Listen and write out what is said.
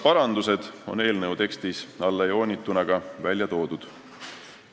Parandused on eelnõu tekstis ka alla joonitud.